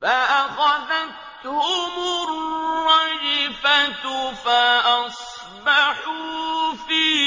فَأَخَذَتْهُمُ الرَّجْفَةُ فَأَصْبَحُوا فِي